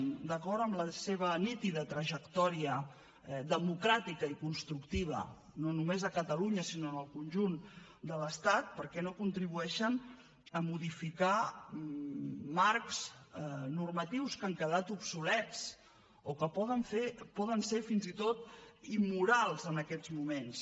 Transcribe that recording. d’acord amb la seva nítida trajectòria democràtica i constructiva no només a catalunya sinó en el conjunt de l’estat per què no contribueixen a modificar marcs normatius que han quedat obsolets o que poden ser fins i tot immorals en aquests moments